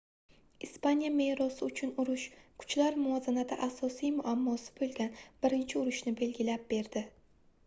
ispaniya merosi uchun urush kuchlar muvozanati asosiy muammosi boʻlgan birinchi urushni belgilab berdi